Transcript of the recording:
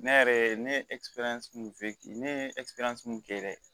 Ne yɛrɛ ne ye min ne ye min kɛ dɛ